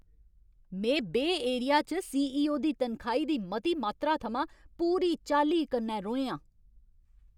में बेऽ एरिया च सीईओ दी तनखाही दी मती मात्तरा थमां पूरी चाल्ली कन्नै रोहें आं।